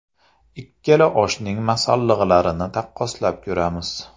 Ikkala oshning masalliqlarini taqqoslab ko‘ramiz.